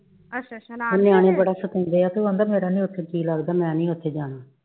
ਨਿਆਣੇ ਬੜਾ ਸਤਾਉਂਦੇ ਆ ਉਹ ਕਹਿੰਦਾ ਮੇਰਾ ਨੀ ਉੱਥੇ ਜੀ ਲਗਦਾ ਮੈਂ ਨੀ ਉੱਥੇ ਜਾਣਾ